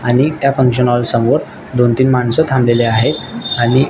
आणि त्या function hall समोर दोन तीन माणस थाबलेली आहेत आणि--